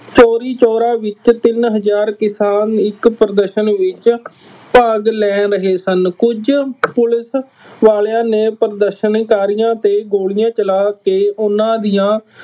ਚੋਰੀ ਚੋਰਾ ਵਿੱਚ ਤਿੰਨ ਹਜ਼ਾਰ ਕਿਸਾਨ ਇੱਕ ਪ੍ਰਦਰਸ਼ਨ ਵਿੱਚ ਭਾਗ ਲੈ ਰਹੇ ਸਨ। ਕੁੱਝ ਪੁਲਿਸ ਵਾਲਿਆਂ ਨੈ ਪ੍ਰਦਰਸ਼ਕਾਰੀਆਂ ਤੇ ਗੋਲੀਆਂ ਚਲਾ ਕੇ ਉਹਨਾ ਦੀਆਂ